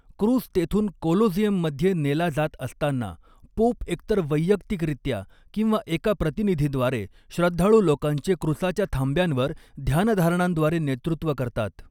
क्रूस तेथून कोलोझियममध्ये नेला जात असताना, पोप एकतर वैयक्तिकरित्या किंवा एका प्रतिनिधीद्वारे, श्रद्धाळू लोकांचे क्रूसाच्या थांब्यांवर ध्यानधारणांद्वारे नेतृत्व करतात.